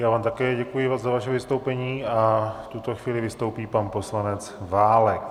Já vám také děkuji za vaše vystoupení a v tuto chvíli vystoupí pan poslanec Válek.